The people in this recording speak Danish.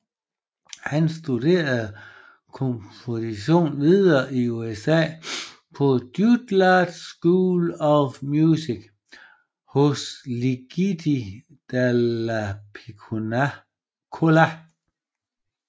Han studerede komposition videre i USA på Juilliard School of Music hos Luigi Dallapiccola